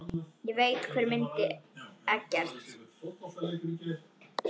Ég veit hver myrti Eggert.